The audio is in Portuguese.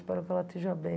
Espero que ela esteja bem.